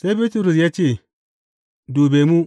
Sai Bitrus ya ce, Dube mu!